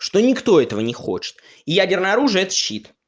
что никто этого не хочет ядерное оружие это щит